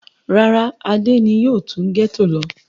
Rárá, Adé ni yóò tún gẹ́tò lọ.